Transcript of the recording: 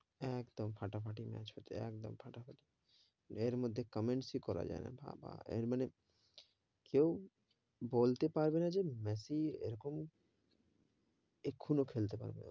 একদম ফাটাফাটি match হয়েছে, একদম ফাটাফাটি, এর মধ্যে comments এ করা যাই না, বাবা এর মানে কেও বলতে পারবে না যে মেসি এরকম এখনো খেলতে পারবে,